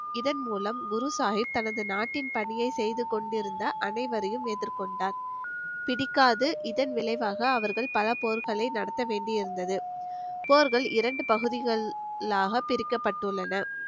இதன் மூலம் குரு சாஹிப் தனது நாட்டின் பணியை செய்து கொண்டிருந்த அனைவரையும் எதிர் கொண்டார் பிடிக்காது இதன் விளைவாக அவர்கள் பல போர்களை நடத்த வேண்டியிருந்தது போர்கள் இரண்டு பகுதிகளாக பிரிக்கப்பட்டுள்ளன.